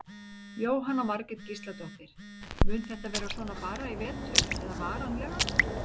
Jóhanna Margrét Gísladóttir: Mun þetta vera svona bara í vetur eða varanlega?